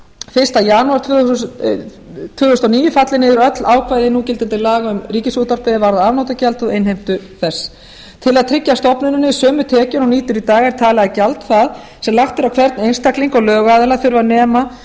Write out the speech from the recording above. fyrsta janúar tvö þúsund og níu falli niður öll ákvæði núgildandi laga um ríkisútvarpið er varða afnotagjald og innheimtu þess til að tryggja stofnuninni sömu tekjur og hún nýtur í dag er talið að gjald það sem lagt er á hvern einstakling og lögaðila þurfi að nema